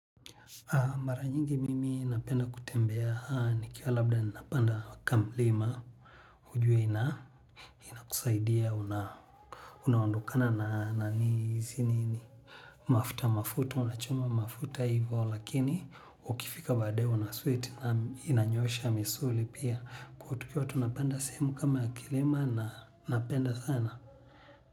Mara nyingi mimi napenda kutembea nikiwa labda napanda kamlima hujui na ina kusaidia unaondokana na hizi nini. Mafuta mafuta unachoma mafuta hivo lakini ukifika baadaye una sweat na inanyosha misuli pia kwa tukiwa tunapenda sehemu kama ya kilima na napenda sana.